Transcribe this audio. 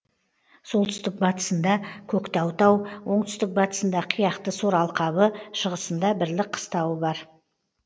солтүстік батысында көктау тау оңтүстік батысында қияқты сор алқабы шығысында бірлік қыстауы бар